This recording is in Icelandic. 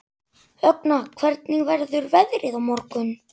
Högna, hvernig verður veðrið á morgun?